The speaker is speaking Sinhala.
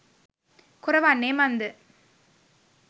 කොර වන්නේ මන්ද?